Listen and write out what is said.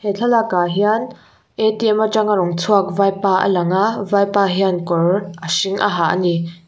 he thlalak ah hian atanga rawn chhuak vaipa a lang a vaipa hian kawr a hring a ha ani.